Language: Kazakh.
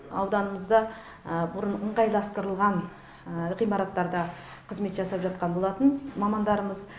ауданымызда бұрын ыңғайластырылған ғимараттарда қызмет жасап жатқан болатын мамандарымыз